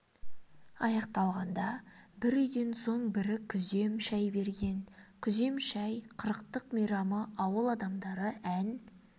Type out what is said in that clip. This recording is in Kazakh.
аяқталғанда бір үйден соң бірі күзем шай берген күзем шай қырықтық мейрамы ауыл адамдары ән